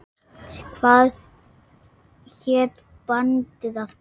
Hvað hét bandið aftur?